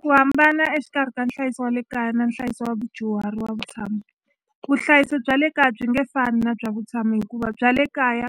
Ku hambana exikarhi ka nhlayiso wa le kaya na nhlayiso wa vudyuhari wa vutshamo vuhlayisi bya le kaya byi nge fani na bya vutshamo hikuva bya le kaya